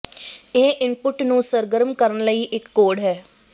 ਇਹ ਇੰਪੁੱਟ ਨੂੰ ਸਰਗਰਮ ਕਰਨ ਲਈ ਇੱਕ ਕੋਡ ਹੈ